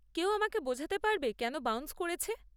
কেউ আমাকে বোঝাতে পারবে কেন বাউন্স করেছে?